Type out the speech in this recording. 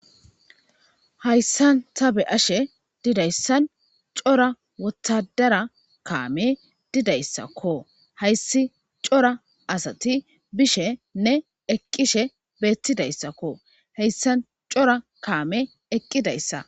hayssan tabe ashe didayssan cora wotadara kaame didayssakko hayssi cora asati bishenne eqqishe beettidayssakko heyssan cora kaame eqqidayssa